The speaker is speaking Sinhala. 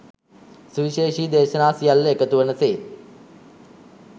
සුවිශේෂී දේශනා සියල්ල එකතු වන සේ